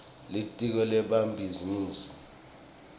litiko lemabhizinisi